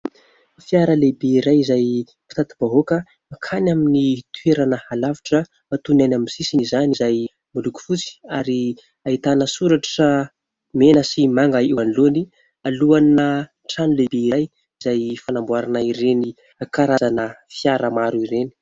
Fiara lehibe iray izay mpitati-bahoaka ankany amin' ny toerana alavitra. Ataony ny any amin'ny sisiny izany izay miloko fotsy ary ahitana soratra mena sy manga eo anolohany. Aloha ana trano lehibe iray izay fanamboarana ireny karazana fiara maro ireny.